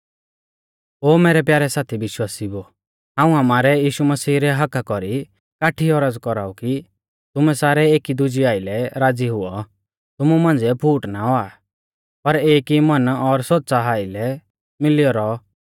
ओ मैरै प्यारै साथी विश्वासिउओ हाऊं आमारै यीशु मसीह रै हक्‍का कौरी काठी ई औरज़ कौराऊ कि तुमैं सारै एकीदुजेऊ आइलै राज़ी हुऔ तुमु मांझ़िऐ फूट ना औआ पर एक ई मन और सोच़ा आइलै मिलियौ रौ